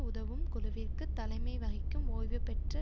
உதவும் குழுவிற்கு தலைமை வகிக்கும் ஓய்வுபெற்ற